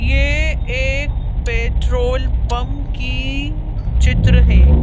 ये एक petrol pump की चित्र है।